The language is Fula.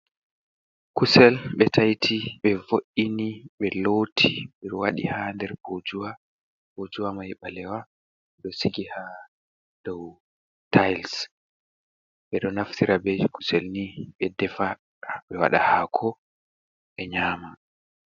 Kusel ɓe taiti ɓe vo’ini ɓe Loti ɓe waɗi ha nder Bojuwa. bojuwa mai ɓalewa ɗo Sigi ha dou tayis ɓe ɗo Naftira be kusel ni ɓe Defa ɓe wada hako e Nyama.